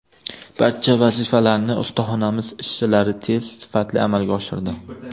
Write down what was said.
Barcha vazifalarni ustaxonamiz ishchilari tez, sifatli amalga oshirdi.